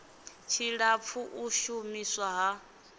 tshilapfu u shu miswa ha